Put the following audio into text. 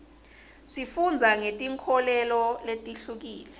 sifundza ngetinkholelo letihlukile